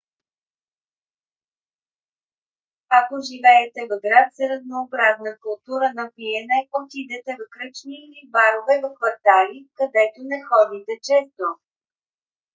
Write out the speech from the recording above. ако живеете в град с разнообразна култура на пиене отидете в кръчми или барове в квартали където не ходите често